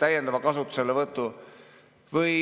täiendava kasutuselevõtu teel.